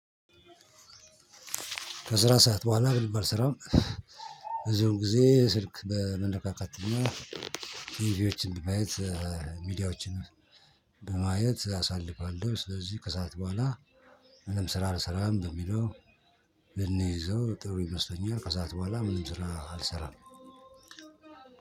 ከስራ ሰዓት በኋላ በደንብ አልስራም። በዚሁም ጊዜ ስልክ በመነካካት እና ሚዲያዎችን ማየት ሚዲያዎችን በማየት አሳልፋለሁ። ስለዚህ ከሰአት በኋላ ምንም ስራ አልሰራም በሚለው ብንይዘው ጥሩ ይመስለኛል። ከሰአት በኋላ ምንም ስራ አልሰራም።